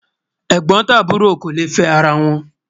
ègbón tàbúrò kò lẹ fẹ àrà wón